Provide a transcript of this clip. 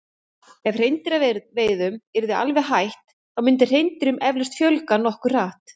ef hreindýraveiðum yrði alveg hætt þá myndi hreindýrum eflaust fjölga nokkuð hratt